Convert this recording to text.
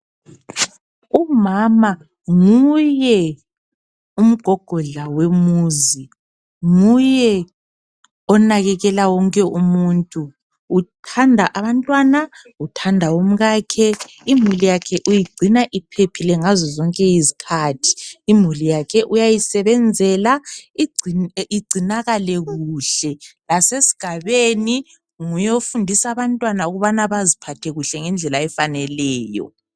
Umama nguye umgogodla wemuzi, nguye onakekela wonke umuntu. Uthanda abantwana, uthanda umkakhe. Imuli yakhe uyigcina iphephile ngazo zonke izikhathi. Imuli yakhe uyayisebenzela igcinakale kuhle. Lasesigabeni nguyofundisa abantwana ukubana baziphathe kuhle ngendlela efaneleyo.